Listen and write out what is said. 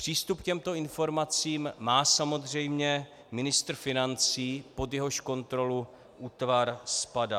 Přístup k těmto informacím má samozřejmě ministr financí, pod jehož kontrolu útvar spadá.